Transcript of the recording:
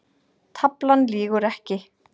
Taflan lýgur ekki